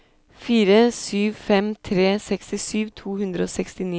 fire sju fem tre sekstisju to hundre og sekstini